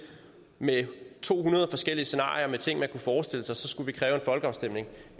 med to hundrede forskellige scenarier om ting man kunne forestille sig så skulle vi kræve en folkeafstemning